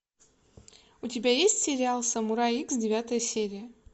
у тебя есть сериал самурай икс девятая серия